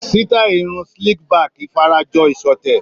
Sítáì irun slick back fara jọ ìṣọ̀tẹ̀.